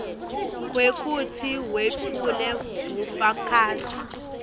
kwekutsi wetfule bufakazi